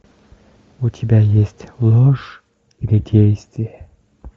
у тебя есть ложь или действие